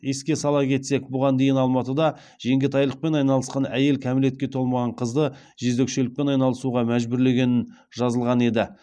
еске сала кетсек бұған дейін алматыда жеңгетайлықпен айналысқан әйел кәмелетке толмаған қызды жезөкшелікпен айналысуға мәжбүрлегенін жазылған еді